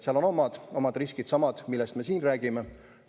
Seal on oma riskid – needsamad, millest me siin räägime.